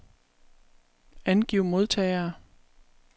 Angiv modtagere.